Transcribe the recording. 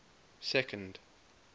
second